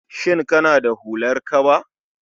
Shin kana da hular kaba?